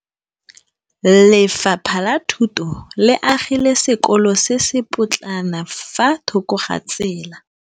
Lefapha la Thuto le agile sekôlô se se pôtlana fa thoko ga tsela.